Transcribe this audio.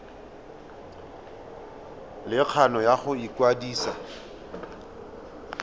le kgano ya go ikwadisa